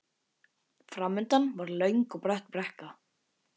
Framundan var löng og brött brekka.